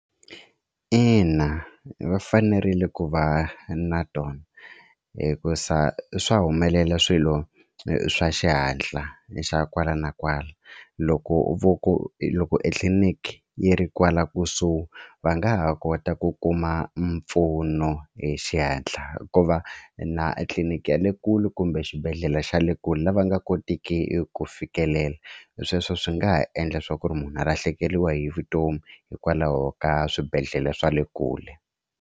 Ina va fanerile ku va na tona hikusa swa humelela swilo swa xihatla xa kwala na kwala loko voko loko etliliniki yi ri kwala kusuhi va nga ha kota ku kuma mpfuno hi xihatla ku va na tliliniki ya le kule kumbe xibedhlele xa le kule lava nga kotiki ku fikelela sweswo swi nga ha endla swa ku ri munhu a lahlekeriwa hi vutomi hikwalaho ka swibedhlele swa le kule.